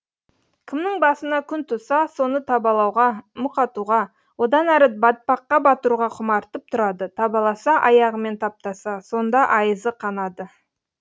кімнің басына күн туса соны табалауға мұқатуға одан әрі батпаққа батыруға құмартып тұрады табаласа аяғымен таптаса сонда айызы қанады